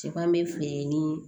Cɛb ni